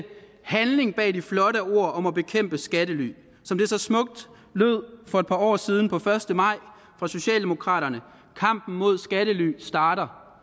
handling bag de flotte ord om at bekæmpe skattely som så smukt lød for et par år siden den første maj fra socialdemokraterne kampen mod skattely starter